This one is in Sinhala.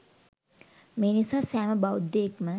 මේ නිසා, සෑම බෞද්ධයෙක්ම